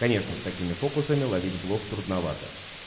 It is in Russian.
конечно с такими фокусами ловить блох трудновато